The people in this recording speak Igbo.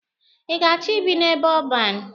Ị ga-achọ ibi n'ebe ọban?